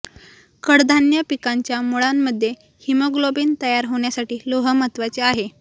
कडधान्य पिकांच्या मुळांमध्ये हिमोग्लोबीन तयार होण्यासाठी लोह महत्वाचे आहे